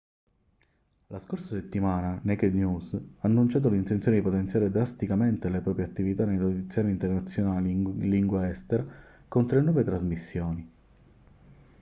la scorsa settimana naked news ha annunciato l'intenzione di potenziare drasticamente le proprie attività nei notiziari internazionali in lingua estera con tre nuove trasmissioni